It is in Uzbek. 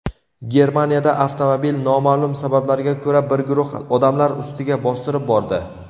Germaniyada avtomobil noma’lum sabablarga ko‘ra bir guruh odamlar ustiga bostirib bordi.